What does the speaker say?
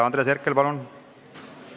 Andres Herkel, palun!